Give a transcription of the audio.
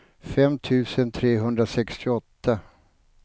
fem tusen trehundrasextioåtta